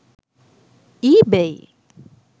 ebay